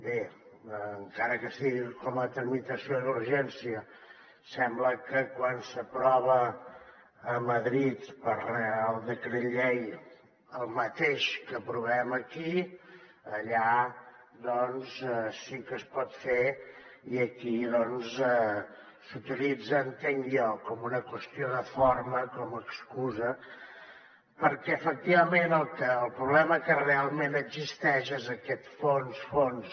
bé encara que sigui com a tramitació d’urgència sembla que quan s’aprova a madrid per reial decret llei el mateix que aprovem aquí allà doncs sí que es pot fer i aquí doncs s’utilitza entenc jo com una qüestió de forma com a excusa perquè efectivament el problema que realment existeix és aquest fons fons